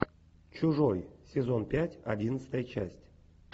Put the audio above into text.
чужой сезон пять одиннадцатая часть